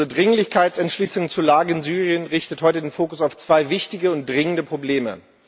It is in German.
Unsere Dringlichkeitsentschließung zur Lage in Syrien richtet heute den Fokus auf zwei wichtige und dringende Probleme.